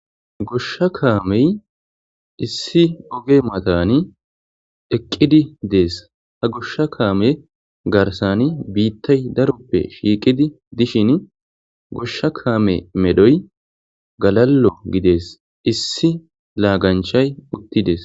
Goshsha kaamey issi oge mataani eqiidi dees ha goshsha kaame garsaani biitay daroppe shiiqidi dishini goshsha kaame medhoy galaalo gidees issi lagaanchay uttides.